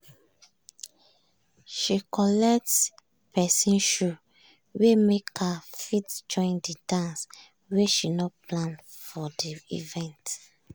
she collect person shoe wey make her fit join de dance wey she no plan for de event.